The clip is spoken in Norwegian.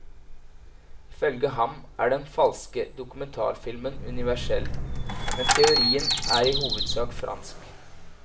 Ifølge ham er den falske dokumentarfilmen universell, men teorien er i hovedsak fransk.